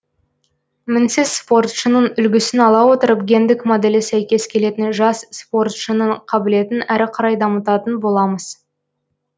мінсіз спортшының үлгісін ала отырып гендік моделі сәйкес келетін жас спортшының қабілетін әрі қарай дамытатын боламыз